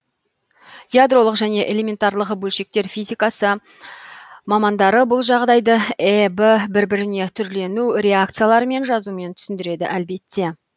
ядролық және элементарлық бөлшектер физикасы мамандары бұл жағдайды эб бір біріне түрлену реакцияларын жазумен түсіндіреді әлбетте